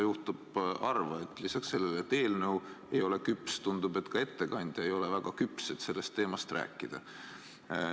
Juhtub harva, et lisaks sellele, et eelnõu ei ole küps, tundub, et ka ettekandja ei ole väga küps, et sellest teemast rääkida.